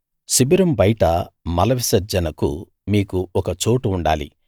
శిబిరం బయట మల విసర్జనకు మీకు ఒక చోటుండాలి